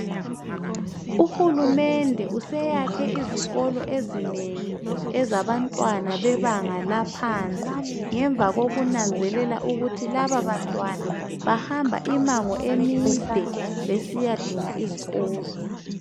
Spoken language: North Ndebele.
Uhulumende useyakhe izikolo ezinengi ezabantwaba bebanga laphansi, ngemva kokunanzelela ukuthi lababantwana bahamba imango emide besiyadinga izikolo.